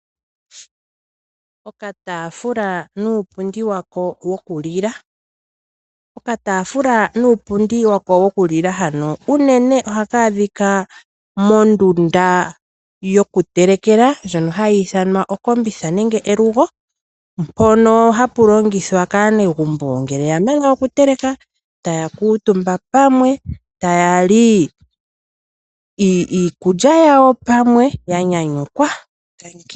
Okatafula nuupundi wako wokulila Okatafula nuupundi wako wokulila hano uunene ohaka adhika mondunda yokutelekela ndjono hayi ithanwa okombitha nenge elugo mpono hapu longithwa kaanegumbo ngele oyamana okuteleka, taya kuutumba pamwe taya li iikulya yawo pamwe ya nyanyukwa, tangi.